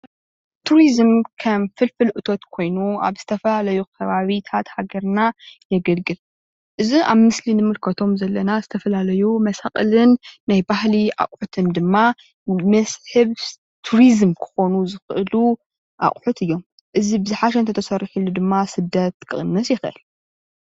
ቱሪዝም ከም ፍልፍል እቶት ኾይኑ ኣብ ዝተፈላለዪ ኸባብታት ሃገርኒና የገልግል። እዚ ኣብ ምስሊ እንምልከቶም ዘለና ዝተፈላላዩ መሣቅልንናይ ባህልን ኣቁሑታት እዙይ ብዝሓሸ እንተተሰሪሑሉ ድማ ሰደት ክቅንስ ይኽእል።